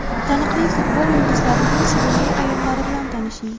Taniqli futbol yulduzlarining sevimli ayollari bilan tanishing .